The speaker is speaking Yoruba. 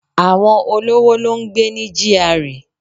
Àwọn olówó ló ń gbé ní GRA